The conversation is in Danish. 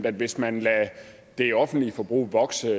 at hvis man lader det offentlige forbrug vokse